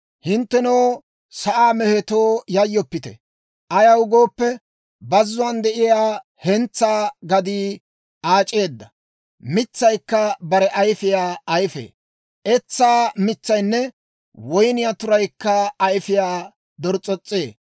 Hinttenoo sa'aa mehetoo, yayyoppite; ayaw gooppe, bazzuwaan de'iyaa hentsaa gadii aac'eedda; mitsaykka bare ayfiyaa ayifee; Etsaa mitsaynne woyniyaa turaykka ayfiyaa dors's'os's'ee.